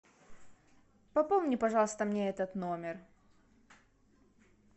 пополни пожалуйста мне этот номер